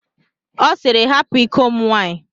Ọ sịịrị, hapụ iko m nwaanyị.